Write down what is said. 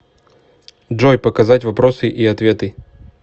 джой показать вопросы и ответы